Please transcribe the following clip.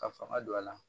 Ka fanga don a la